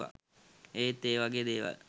ඒත් ඒ වගේ දේවල්